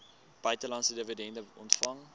buitelandse dividende ontvang